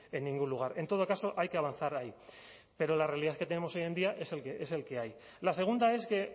en ningún lugar en todo caso hay que avanzar ahí pero la realidad que tenemos hoy en día es el que hay la segunda es que